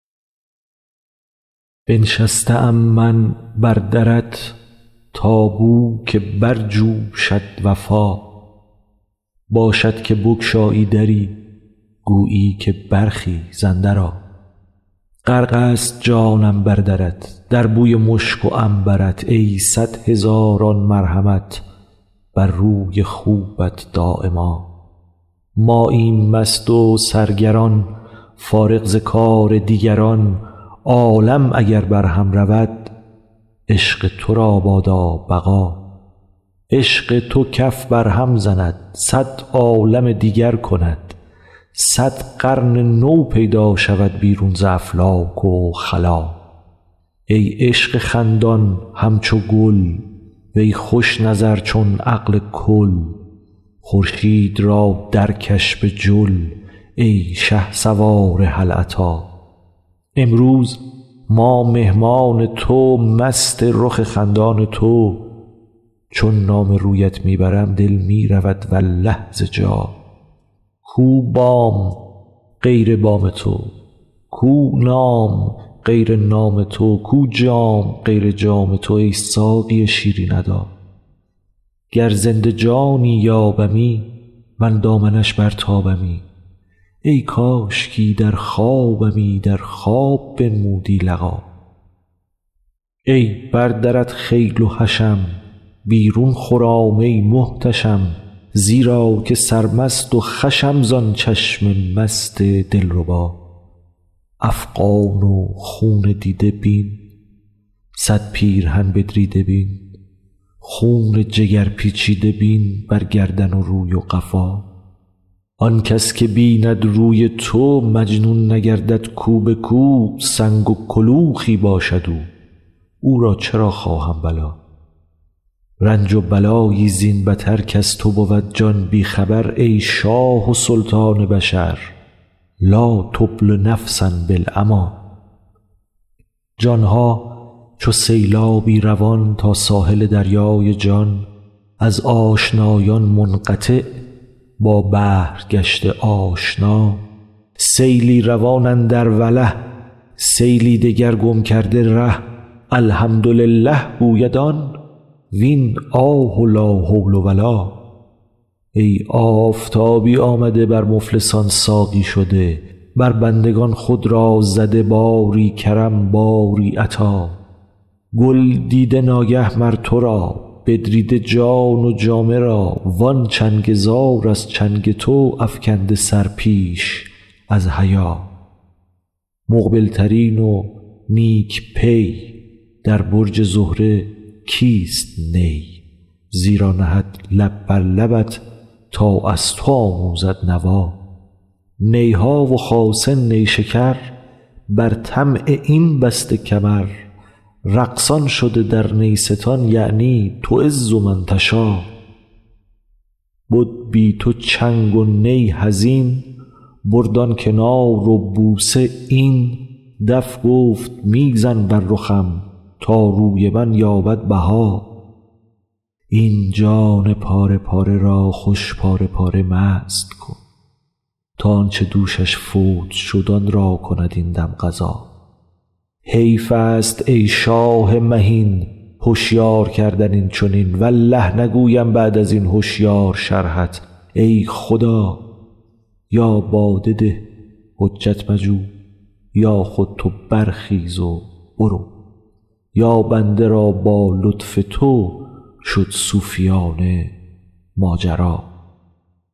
بنشسته ام من بر درت تا بوک برجوشد وفا باشد که بگشایی دری گویی که برخیز اندرآ غرق ست جانم بر درت در بوی مشک و عنبر ت ای صد هزاران مرحمت بر روی خوبت دایما ماییم مست و سرگران فارغ ز کار دیگران عالم اگر برهم رود عشق تو را بادا بقا عشق تو کف برهم زند صد عالم دیگر کند صد قرن نو پیدا شود بیرون ز افلاک و خلا ای عشق خندان همچو گل وی خوش نظر چون عقل کل خورشید را درکش به جل ای شهسوار هل اتی امروز ما مهمان تو مست رخ خندان تو چون نام رویت می برم دل می رود والله ز جا کو بام غیر بام تو کو نام غیر نام تو کو جام غیر جام تو ای ساقی شیرین ادا گر زنده جانی یابمی من دامنش برتابمی ای کاشکی در خوابمی در خواب بنمودی لقا ای بر درت خیل و حشم بیرون خرام ای محتشم زیرا که سرمست و خوشم زان چشم مست دلربا افغان و خون دیده بین صد پیرهن بدریده بین خون جگر پیچیده بین بر گردن و روی و قفا آن کس که بیند روی تو مجنون نگردد کو به کو سنگ و کلوخی باشد او او را چرا خواهم بلا رنج و بلایی زین بتر کز تو بود جان بی خبر ای شاه و سلطان بشر لا تبل نفسا بالعمی جان ها چو سیلابی روان تا ساحل دریای جان از آشنایان منقطع با بحر گشته آشنا سیلی روان اندر وله سیلی دگر گم کرده ره الحمدلله گوید آن وین آه و لا حول و لا ای آفتابی آمده بر مفلسان ساقی شده بر بندگان خود را زده باری کرم باری عطا گل دیده ناگه مر تو را بدریده جان و جامه را وان چنگ زار از چنگ تو افکنده سر پیش از حیا مقبل ترین و نیک پی در برج زهره کیست نی زیرا نهد لب بر لبت تا از تو آموزد نوا نی ها و خاصه نیشکر بر طمع این بسته کمر رقصان شده در نیستان یعنی تعز من تشا بد بی تو چنگ و نی حزین برد آن کنار و بوسه این دف گفت می زن بر رخم تا روی من یابد بها این جان پاره پاره را خوش پاره پاره مست کن تا آن چه دوشش فوت شد آن را کند این دم قضا حیف است ای شاه مهین هشیار کردن این چنین والله نگویم بعد از این هشیار شرحت ای خدا یا باده ده حجت مجو یا خود تو برخیز و برو یا بنده را با لطف تو شد صوفیانه ماجرا